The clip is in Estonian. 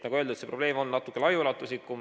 Nagu öeldud, see probleem on natuke laiaulatuslikum.